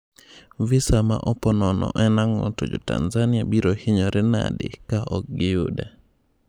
Visa ma opo nono en ang'o to jotanzania biro hinyore nadi ka ok giyude?